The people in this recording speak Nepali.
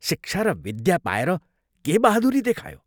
शिक्षा र विद्या पाएर के बहादुरी देखायो?